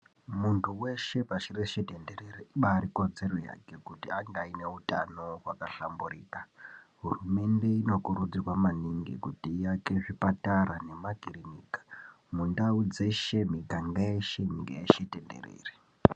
Muntu weshe pashi reshe tenderere , ibaari ikodzero yake kuti ange aine utano hwakahlamburika, hurumende inokurudzirwa maningi kuti iake zvipatara nemakirinika mundau dzeshe, miganga yeshe, nyika yeshe tenderere.